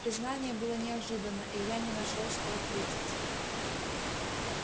признание было неожиданно и я не нашёл что ответить